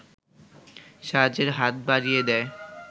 সাহায্যের হাত বাড়িয়ে দেয়